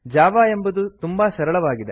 Java ಎಂಬುದು ತುಂಬಾ ಸರಳವಾಗಿದೆ